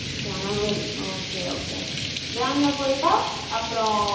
ஜனவரி ok , ok jan ல போயிட்டு